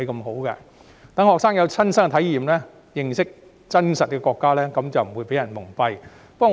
學生有了親身體驗，認識國家的真實情況，便不會被人蒙蔽。